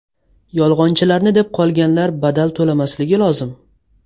Yolg‘onchilarni deb qolganlar badal to‘lamasligi lozim.